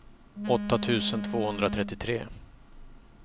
åtta tusen tvåhundratrettiotre